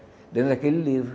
Dentro daquele livro.